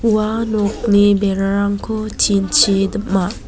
ua nokni berarangko tin-chi dim·a.